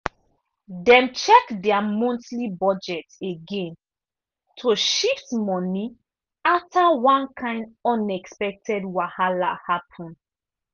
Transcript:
dem check dia monthly budget again to shift money after one kain unexpected wahala happen.